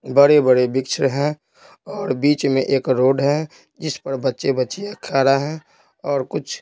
बड़े-बड़े वृक्ष हैं और बीच में एक रोड है जिस पर बच्चे-बच्ची खड़ा है और कुछ--